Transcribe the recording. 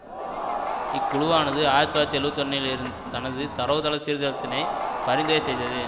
இக்குழுவானது ஆயிரத்தி தொள்ளாயிரத்தி எழுவத்தி ஒன்றில் இரு தனது தரவுத்தள சீர்தரத்தினை பரிந்துறை செய்தது